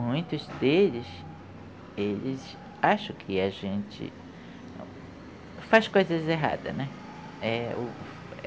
Muitos deles, eles acham que a gente faz coisas erradas, né? É o